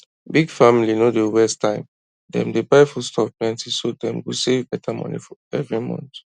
big family no dey waste time dem dey buy foodstuff plenty so dem go save better money every month